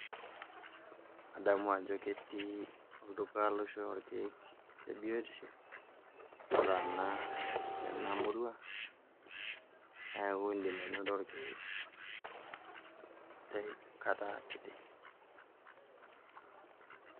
Adamu ajo ketii olduka loishoyo irkeek le biotisho otaana tena murrua, neeku indim ainoto irkeek tenkata kiti.